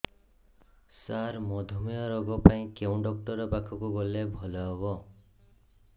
ସାର ମଧୁମେହ ରୋଗ ପାଇଁ କେଉଁ ଡକ୍ଟର ପାଖକୁ ଗଲେ ଭଲ ହେବ